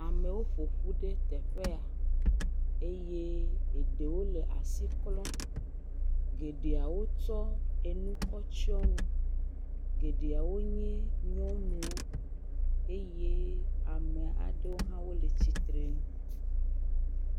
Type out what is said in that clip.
Amewo ƒo ƒu ɖe teƒe ya. Eye eɖewo le asi klɔm Geɖeawo kɔ enu kɔ tsɔ nu. Geɖeawo nye nyɔnuwo eye ame aɖewo hã le tsi tre ŋu.